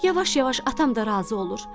Yavaş-yavaş atam da razı olur.